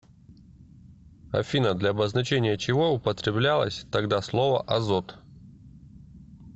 афина для обозначения чего употреблялось тогда слово азот